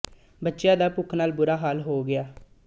ਬੱਚਿਆਂ ਦਾ ਭੁੱਖ ਨਾਲ ਬੁਰਾ ਹਾਲ ਹੋ ਗਿਆ